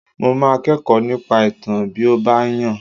Mo máa kẹ́kọ̀ọ́ nípa ìtàn bí ó bá yàn